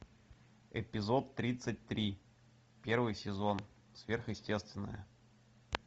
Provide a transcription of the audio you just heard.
эпизод тридцать три первый сезон сверхъестественное